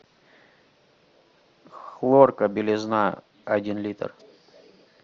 хлорка белизна один литр